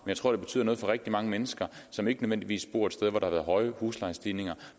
jeg tror det betyder noget for rigtig mange mennesker som ikke nødvendigvis bor et sted hvor der har været høje huslejestigninger